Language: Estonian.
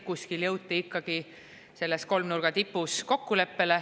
Kuskil jõuti ikkagi selles kolmnurga tipus kokkuleppele.